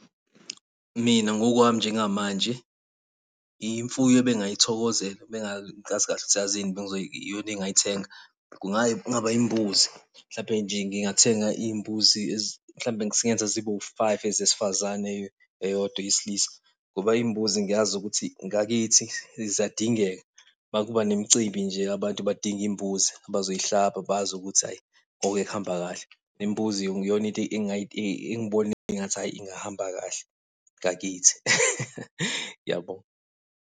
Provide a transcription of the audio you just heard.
Mina ngokwami njengamanje, imfuyo ebengayithokozela ngazi kahle ukuthi yazini iyona engayithenga, kungangaba imbuzi. Hlampe nje ngingathenga iy'mbuzi hlampe singenza zibe wu-five ezesifazane, eyodwa yesilisa. Ngoba imbuzi ngiyazi ukuthi ngakithi ziyadingeka. Makuba nemicimbi nje abantu badinga imbuzi abazoyihlaba bazi ukuthi hhayi, konke kuhamba kahle. Imbuzi iyona into engibona ngathi hhayi ingahamba kahle, ngakithi. Ngiyabonga.